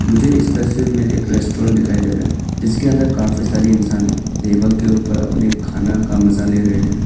मुझे इस तस्वीर में एक रेस्टोरेंट दिखाई दे रहा जिसके अंदर काफी सारी इंसान है टेबल के ऊपर अपने खाने का मजा ले रहे हैं।